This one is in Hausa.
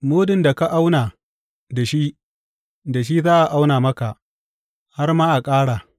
Mudun da ka auna da shi, da shi za a auna maka, har ma a ƙara.